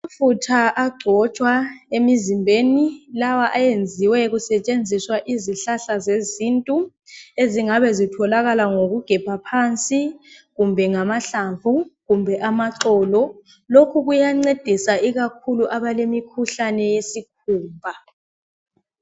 Amafutha agcotsha emizibheni lawa ayeziwe kusetsheziswa zezintu ezingabe zitholakala ngokugebha phansi kumbe ngamahlavu kumbe amaxolo lokhu kuya ncedisa ikakhulu abalemi khuhlane yesikhupha